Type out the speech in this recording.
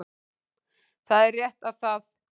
Það er rétt að það